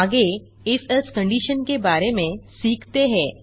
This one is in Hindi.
आगे if एल्से कंडिशन के बारे में सीखते हैं